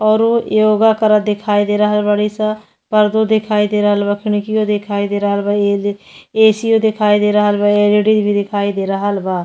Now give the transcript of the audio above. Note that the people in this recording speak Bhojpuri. औरो योगा करत दिखाई दे रहल बारी सन। पर्दो दिखाई दे रहल बा। खिडकिओ दिखाई दे रहल बा। ए.सी ओ दिखाई दे रहल बा। एल.ई.डी भी दिखाई दे रहल बा।